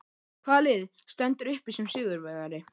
Hvaða lið stendur uppi sem sigurvegari?